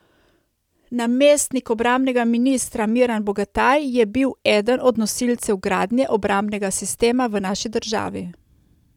Namestnik obrambnega ministra, Miran Bogataj, je bil eden od nosilcev gradnje obrambnega sistema v naši državi.